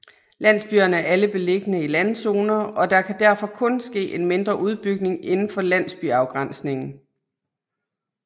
Landsbyerne er alle beliggende i landzoner og der kan derfor kun ske en mindre udbygning indenfor landsbyafgrænsningen